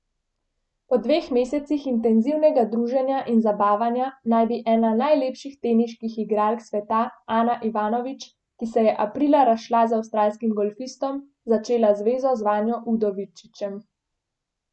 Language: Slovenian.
Po dveh mesecih intenzivnega druženja in zabavanja naj bi ena najlepših teniških igralk sveta Ana Ivanović, ki se je aprila razšla z avstralskim golfistom , začela zvezo z Vanjo Udovičićem.